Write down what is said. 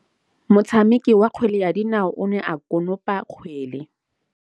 Motshameki wa kgwele ya dinaô o ne a konopa kgwele.